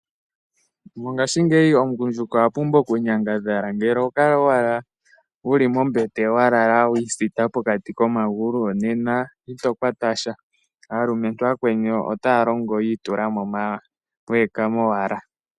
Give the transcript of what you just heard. Mongaashingeyi omugundjuka okwa pumbwa okunyangadhala, ngele oho kala owala wu li mombete wa lala wi isitha pokati komagulu nena ito kwata sha, aalumentu aakweni otaya longo yi itula mo manga we ekama owala.